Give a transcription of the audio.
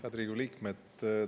Head Riigikogu liikmed!